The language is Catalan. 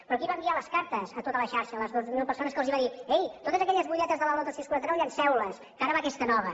però qui va enviar les cartes a tota la xarxa a les dues mil persones que els va dir ei totes aquelles butlletes de la lotto sis quaranta nou llenceules que ara va aquesta nova